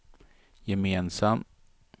gemensam